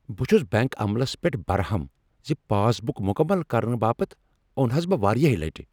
بہٕ چُھس بینک عملس پیٹھ برہم زِ پاس بُک مكمل كرنہٕ باپت اننووہس بہ واریاہہ لٹہ۔